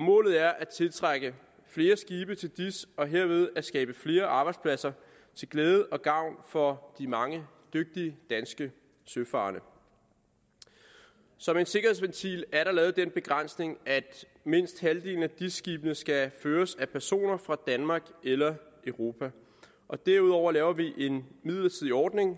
målet er at tiltrække flere skibe til dis og dermed skabe flere arbejdspladser til glæde og gavn for de mange dygtige danske søfarende som en sikkerhedsventil er der lavet den begrænsning at mindst halvdelen af skibene skal føres af personer fra danmark eller europa derudover laver vi en midlertidig ordning